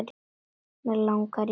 Mig langar í bjórinn minn!